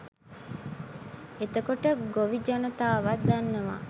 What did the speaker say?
එතකොට ගොවි ජනතාවත් දන්නවා